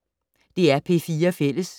DR P4 Fælles